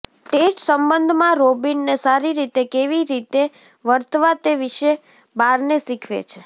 Ted સંબંધમાં રોબિનને સારી રીતે કેવી રીતે વર્તવા તે વિશે બાર્ને શીખવે છે